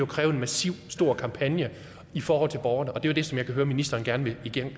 kræve en massiv og stor kampagne i forhold til borgerne og det er jo det som jeg kan høre ministeren gerne vil